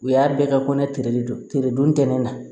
U y'a bɛɛ ka kɔnɛ de don teredon tɛnɛn na